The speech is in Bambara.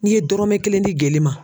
N'i ye dɔrɔmɛ kelen di geli ma.